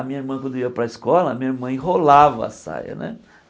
A minha irmã, quando ia para a escola, a minha mãe enrolava a saia, né?